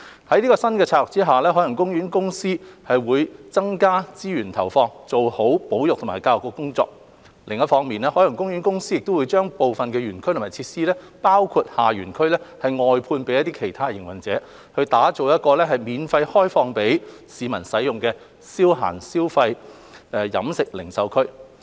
在新策略下，海洋公園公司會增加資源投放，做好保育和教育的工作；另一方面，海洋公園公司會將部分園區或設施，包括下園區外判予其他營運者，打造一個免費開放予市民使用的消閒消費、飲食零售區。